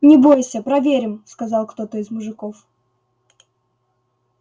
не бойся проверим сказал кто-то из мужиков